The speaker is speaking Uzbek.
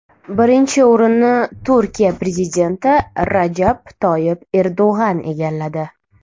Birinchi o‘rinni Turkiya prezidenti Rajab Toyib Erdo‘g‘on egalladi.